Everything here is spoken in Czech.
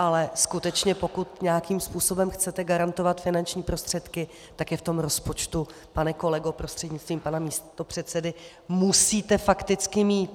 Ale skutečně pokud nějakým způsobem chcete garantovat finanční prostředky, tak je v tom rozpočtu, pane kolego prostřednictvím pana místopředsedy, musíte fakticky mít.